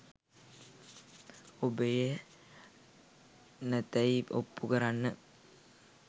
ඔබ එය නැතැයි ඔප්පු කරන්න